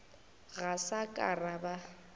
ga sa ka ra ba